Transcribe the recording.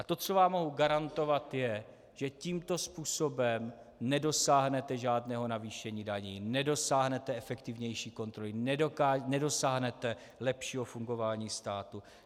A to, co vám mohu garantovat, je, že tímto způsobem nedosáhnete žádného navýšení daní, nedosáhnete efektivnější kontroly, nedosáhnete lepšího fungování státu.